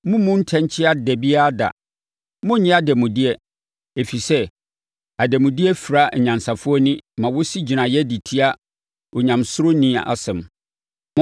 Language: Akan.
Mommmu ntɛnkyea da biara da. Monnnye adanmudeɛ, ɛfiri sɛ, adanmudeɛ fira anyansafoɔ ani ma wɔsi gyinaeɛ de tia onyamesuroni asɛm.